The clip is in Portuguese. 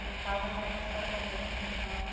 Minha casa acaba se tornando aqui em São Paulo.